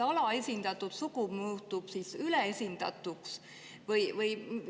Kas alaesindatud sugu muutub siis üleesindatuks?